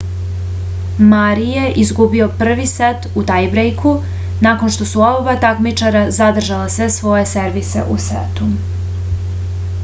mari je izgubio prvi set u tajbrejku nakon što su oba takmičara zadržala sve svoje servise u setu